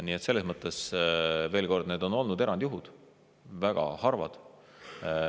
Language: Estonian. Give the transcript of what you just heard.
Nii et selles mõttes veel kord: need on olnud erandjuhud, väga harvad.